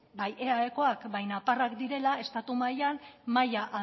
bai eaekoak bai nafarrak direla estatu mailan maila